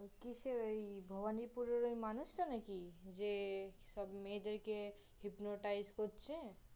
ওই কিসের? ওই ভবানীপুরের ওই মানুষটা নাকি? যে সব মেয়েদের কে Hypnotize করছে?